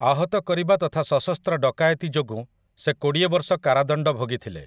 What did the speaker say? ଆହତ କରିବା ତଥା ସଶସ୍ତ୍ର ଡକାୟତି ଯୋଗୁଁ ସେ କୋଡ଼ିଏ ବର୍ଷ କାରାଦଣ୍ଡ ଭୋଗିଥିଲେ ।